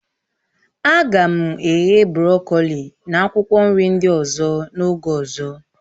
A ga m eghe brọkoli na akwụkwọ nri ndị ọzọ n'oge ọzọ